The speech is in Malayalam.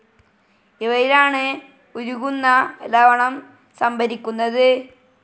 ഇവയിലാണ് ഉരുകുന്ന ലവണം സംഭരിക്കുന്നത്.